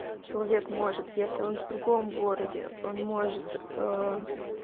человек может если он в другом городе он может